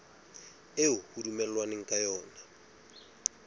eo ho dumellanweng ka yona